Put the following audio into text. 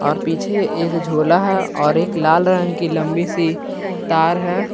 और पीछे एक झोला है और एक लाल रंग की लंबी सी तार है।